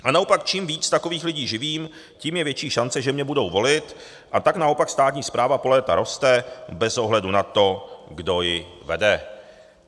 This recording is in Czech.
A naopak čím víc takových lidí živím, tím je větší šance, že mě budou volit, a tak naopak státní správa po léta roste bez ohledu na to, kdo ji vede.